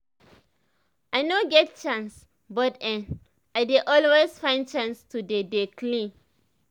i no get chance but[um]i dey always find chance to dey dey clean